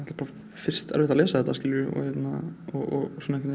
bara erfitt að lesa þetta og